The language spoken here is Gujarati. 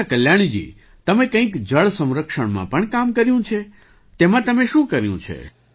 અચ્છા કલ્યાણીજી તમે કંઈક જળ સંરક્ષણમાં પણ કામ કર્યું છે તેમાં તમે શું કર્યું છે